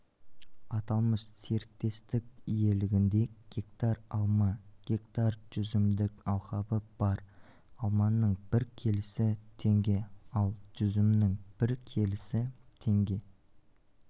аталмышсеріктестікиелегінде гектар алма гектар жүзімдік алқабы бар алманың бір келісі теңге ал жүзімнің бір келісі теңге